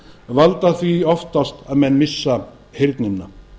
valda því oftast að menn missa heyrnina